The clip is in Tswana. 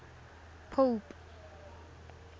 pope